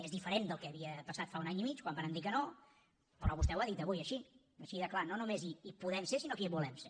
és diferent del que havia passat fa un any i mig quan varen dir que no però vostè ho ha dit avui així així de clar no només hi podem ser sinó que hi volem ser